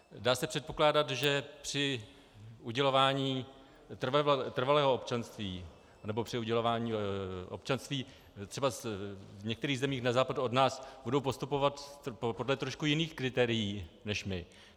Dá se předpokládat, že při udělování trvalého občanství, nebo při udělování občanství třebas v některých zemích na západ od nás budou postupovat podle trošku jiných kritérií než my.